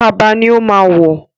Kaba ni ó ma wọ̀